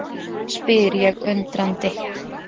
spyr ég undrandi.